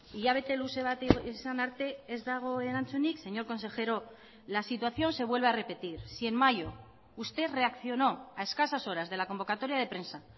hilabete luze bat izan arte ez dago erantzunik señor consejero la situación se vuelve a repetir si en mayo usted reaccionó a escasas horas de la convocatoria de prensa